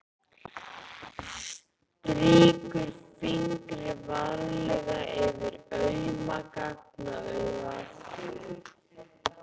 Strýkur fingri varlega yfir auma gagnaugað.